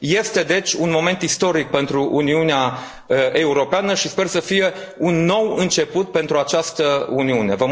Este, deci, un moment istoric pentru Uniunea Europeană și sper să fie un nou început pentru această Uniune.